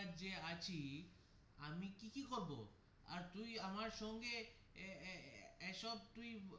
আজ যে আছি আমি কি কি করবো আর তুই আমার সঙ্গে এর এসব তুই.